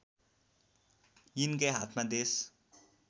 यिनकै हातमा देश